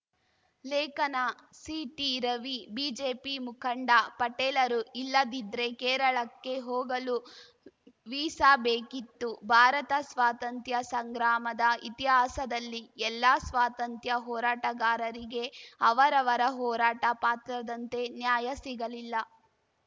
ಲೇಖನ C T Ravi BJP ಮುಖಂಡ ಪಟೇಲರು ಇಲ್ಲದಿದ್ರೆ ಕೇರಳಕ್ಕೆ ಹೋಗಲೂ ವೀಸಾ ಬೇಕಿತ್ತು ಭಾರತ ಸ್ವಾತಂತ್ರ್ಯಸಂಗ್ರಾಮದ ಇತಿಹಾಸದಲ್ಲಿ ಎಲ್ಲಾ ಸ್ವಾತಂತ್ರ್ಯ ಹೋರಾಟಗಾರರಿಗೆ ಅವರವರ ಹೋರಾಟ ಪಾತ್ರದಂತೆ ನ್ಯಾಯ ಸಿಗಲಿಲ್ಲ